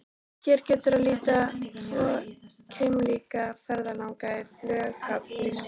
Hér getur að líta tvo keimlíka ferðalanga í flughöfn lífsins.